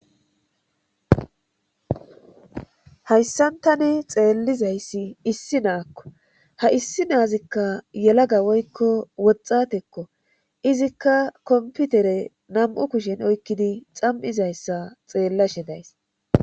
Hayssantane xeellizayssi issi naakko ha issi naazikka yelaga woykko woxxatekko izikka komputere nam'u kushen oykkidi xam'izayssa xeellashe days.